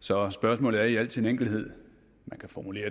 så spørgsmålet kan man i al sin enkelhed formulere